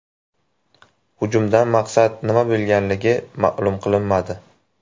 Hujumdan maqsad nima bo‘lganligi ma’lum qilinmadi.